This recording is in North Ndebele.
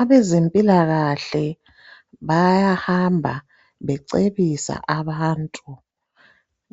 Abezempilakahle bayahamba becebisa abantu